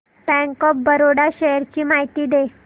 bank of Baroda shares ची माहिती दे